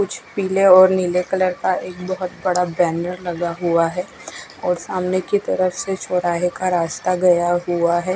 कुछ पीले और नीले कलर का एक बोह्गोत बड़ा बेनर लगा हुआ है और सामने की तरफ से चोराए का रास्ता गया हुआ है।